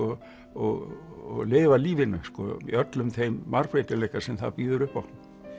og og lifa lífinu í öllum þeim margbreytileika sem það býður upp á